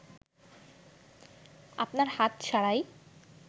আপনার হাত ছাড়াই